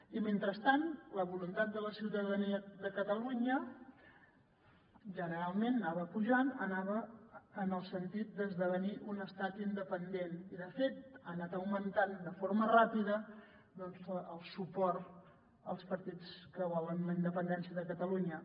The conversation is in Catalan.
i mentrestant la voluntat de la ciutadania de catalunya generalment anava pujant anava en el sentit d’esdevenir un estat independent i de fet ha anat augmentant de forma ràpida el suport als partits que volen la independència de catalunya